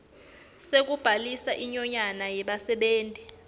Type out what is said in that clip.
sekubhalisa inyonyane yebasebenti